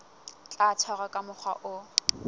tla tshwarwa ka mokgwa o